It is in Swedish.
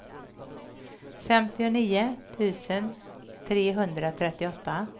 femtionio tusen trehundratrettioåtta